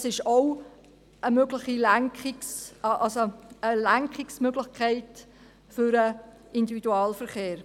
Das ist auch eine Lenkungsmöglichkeit für den Individualverkehr.